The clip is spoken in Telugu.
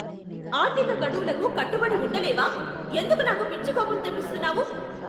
ఆర్థిక గడువులకు కట్టుబడి ఉండలేవా? ఎందుకు నాకు పిచ్చి కోపం తెప్పిస్తున్నావు!